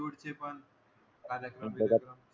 दूरचे पण कार्यक्रम बीरेक्रम